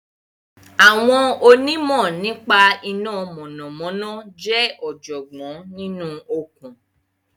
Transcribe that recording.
Àwọn onímọ̀ nípa iná mọ̀nàmọ́ná jẹ́ ọ̀jọ̀gbọ́n nínú okùn